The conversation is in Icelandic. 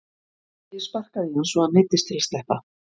Ég sparkaði í hann svo að hann neyddist til að sleppa.